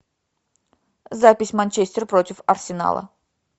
запись манчестер против арсенала